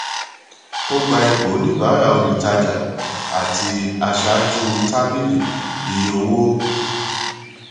ó gba ipò oníbàárà olùtajà àti aṣáájú tábìlì iye owó